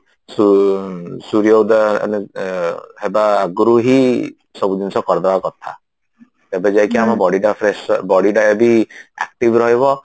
ସୁ ସୁରୀୟ ଉଦୟ ମାନେ ହେବା ଆଗରୁ ହିଁ ସବୁ ଜିନିଷ କରିଦବା କଥା ତେବେ ଯାଇକି ଆମ body ଟା fresh bodyଟା ଯଦି active ରହିବ